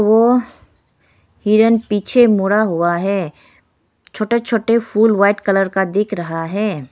वो हिरण पीछे मुंडा हुआ है छोटे छोटे फूल व्हाइट कलर का दिख रहा है।